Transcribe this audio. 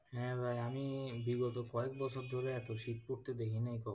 হ্যাঁ, ভাই আমি বিগত কয়েক বছর ধরে এতো শীত পড়তে দেখিনি কখনো।